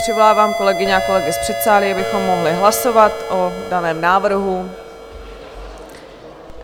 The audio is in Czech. Přivolávám kolegyně a kolegy z předsálí, abychom mohli hlasovat o daném návrhu.